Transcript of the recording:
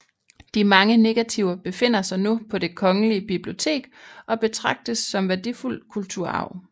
De mange negativer befinder sig nu på Det Kongelige Bibliotek og betragtes som værdifuld kulturarv